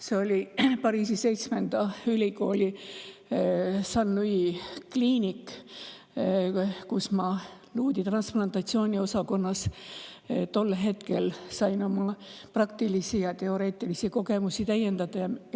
See oli Paris 7 ülikooli Sain-Louis' kliinik, kus ma luuüdi transplantatsiooni osakonnas sain tol hetkel oma praktilisi kogemusi ja teoreetilisi täiendada.